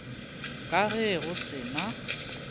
ka ge go se na